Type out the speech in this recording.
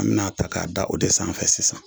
An bɛna a ta k'a da o de sanfɛ sisan